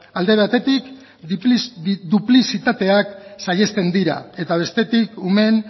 alde batetik duplizitateak saihesten dira eta bestetik umeen